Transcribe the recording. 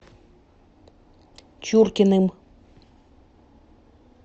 чуркиным